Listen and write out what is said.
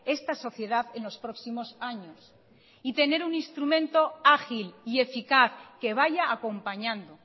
esta sociedad en los próximos años y tener un instrumento ágil y eficaz que vaya acompañando